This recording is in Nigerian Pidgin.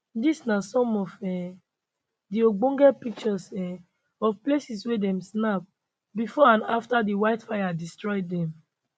dis na some of um di ogbonge pictures um of places wey dem snap bifor and afta di wildfires destroy dem